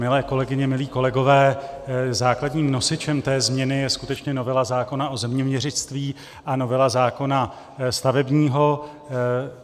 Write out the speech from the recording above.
Milé kolegyně, milí kolegové, základním nosičem té změny je skutečně novela zákona o zeměměřictví a novela zákona stavebního.